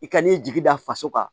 I ka n'i jigi da faso kan